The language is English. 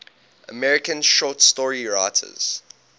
american short story writers